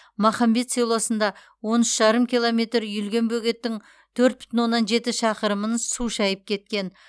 махамбет селосында он үш жарым километр үйілген бөгеттің төрт бүтін оннан жеті шақырымын су шайып кеткен